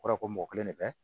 O kɔrɔ ye ko mɔgɔ kelen de bɛ